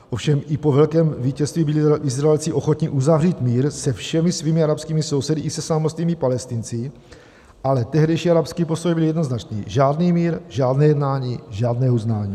Ovšem i po velkém vítězství byli Izraelci ochotni uzavřít mír se všemi svými arabskými sousedy i se samotnými Palestinci, ale tehdejší arabský postoj byl jednoznačný: žádný mír, žádné jednání, žádné uznání.